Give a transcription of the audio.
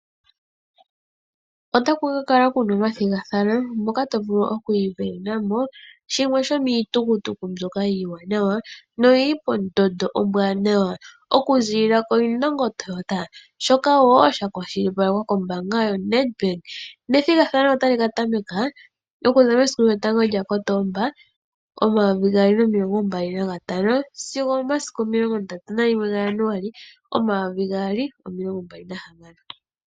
Otaku kala ku na omathigathano moka to vulu oku isindanena mo shimwe shomiitukutuku iiwanawa noyi li pondondo ombwaanawa okuziilila koIndongo Toyota, shoka sha kwashilipalekwa kombaanga yoNedbank. Ethigathano otali ka tameka okuza 01 Kotoba 2025 sigo 31 Januali 2026.